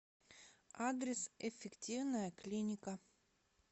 адрес эффективная клиника